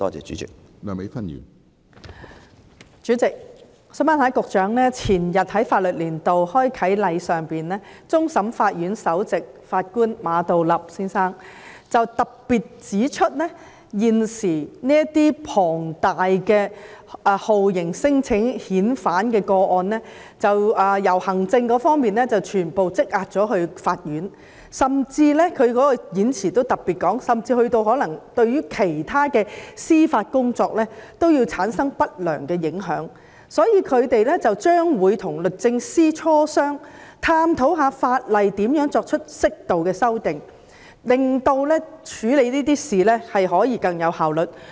主席，前日，在法律年度開啟典禮上，終審法院首席法官馬道立先生特別指出，現時這些數量龐大的酷刑聲請或免遣返聲請個案已經由積壓在行政機關，全部轉為積壓在法院，他在演辭中特別提到，這種情況甚至對其他司法工作產生不良影響，因此，他們會與律政司磋商，探討可如何對法例作出適度修訂，以便在處理這類事情時可以更有效率。